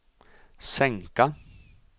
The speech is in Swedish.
sänka